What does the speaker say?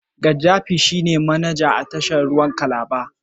Gaddafi shine manaja a tashar ruwan Calabar.